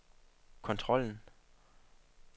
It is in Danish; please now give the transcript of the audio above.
kontrollen